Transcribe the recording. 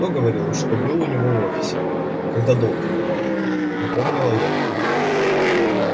кто говорил что был у него в офисе когда долг отдавал напомнила я